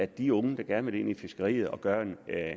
de unge der gerne vil ind i fiskeriet og gøre